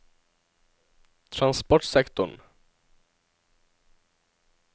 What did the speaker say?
transportsektoren